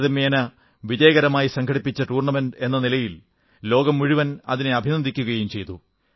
താരതമ്യേന വിജയകരമായി സംഘടിപ്പിച്ച ടൂർണമെന്റ് എന്ന നിലയിൽ ലോകം മുഴുവൻ അതിനെ അഭിനന്ദിക്കുകയും ചെയ്തു